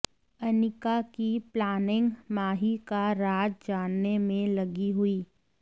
अनिका की प्लानिंग माही का राज जानने में लगी हुई